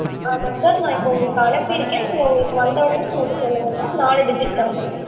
ஆமா sir நான் இப்ப அனுப்பி இருக்கேன் உங்களுக்கு வந்த உடனே சொல்லுங்க sir நாலு digit number